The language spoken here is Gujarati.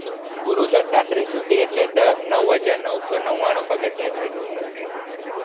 ગુરુદાતાત્રી સુધી એટલે નવ હજાર નવસો નવ્વાણું પગથ્યા છે total ત્યાં